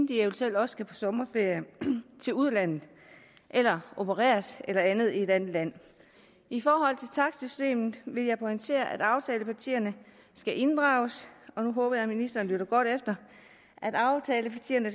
de eventuelt også skal på sommerferie til udlandet eller opereres eller andet i et andet land i forhold til takstsystemet vil jeg pointere at aftalepartierne skal inddrages og nu håber jeg ministeren lytter godt efter